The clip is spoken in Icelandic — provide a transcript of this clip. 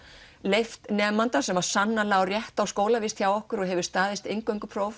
leyft nemanda sem á sannarlega rétt á skólavist hjá okkur og hefur staðist